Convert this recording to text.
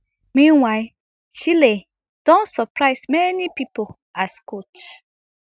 meanwhile chelle don surprise many pipo as a coach